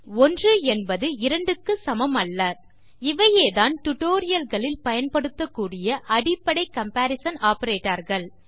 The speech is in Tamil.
ஏனெனில் 1 என்பது 2 க்கு சமம் அல்ல இவைதான் டியூட்டோரியல் களில் பயன்படுத்தக் கூடிய அடிப்படை கம்பரிசன் ஆப்பரேட்டர்ஸ்